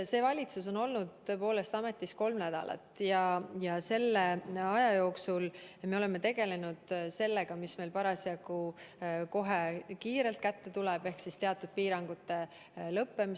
See valitsus on olnud ametis kolm nädalat ja selle aja jooksul me oleme tegelenud sellega, mis parasjagu kohe kiirelt kätte tuleb, ehk teatud piirangute lõppemisega.